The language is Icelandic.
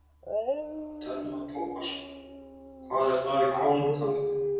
Telma Tómasson: Og hvað er það í krónum talið?